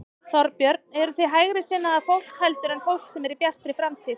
Þorbjörn: Eruð þið hægri sinnaðra fólk heldur en fólk sem er í Bjartri framtíð?